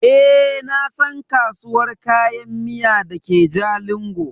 Eh nasan kasuwar Kayan miya dake jalingo.